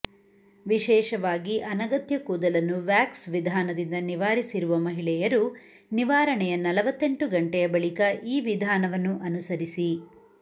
ವಿಶೇಷವಾಗಿ ಅನಗತ್ಯ ಕೂದಲನ್ನು ವ್ಯಾಕ್ಸ್ ವಿಧಾನದಿಂದ ನಿವಾರಿಸಿರುವ ಮಹಿಳೆಯರು ನಿವಾರಣೆಯ ನಲವತ್ತೆಂಟು ಗಂಟೆಯ ಬಳಿಕ ಈ ವಿಧಾನವನ್ನು ಅನುಸರಿಸಿ